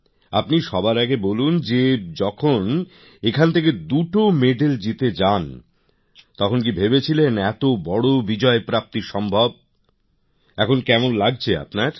আপনি সবার আগে বলুন যে যখন এখান থেকে দুটো মেডেল জিতে যান তখন কি ভেবেছিলেন এত বড় পদকপ্রাপ্তি সম্ভব এখন কেমন লাগছে আপনার